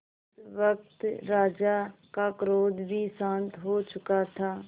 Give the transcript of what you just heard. इस वक्त राजा का क्रोध भी शांत हो चुका था